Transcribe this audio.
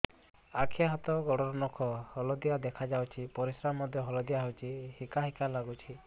ଆଖି ହାତ ଗୋଡ଼ର ନଖ ହଳଦିଆ ଦେଖା ଯାଉଛି ପରିସ୍ରା ମଧ୍ୟ ହଳଦିଆ ହଉଛି ହିକା ହିକା ଲାଗୁଛି